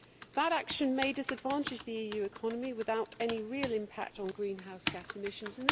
That action may disadvantage the EU economy without any real impact on greenhouse gas emissions.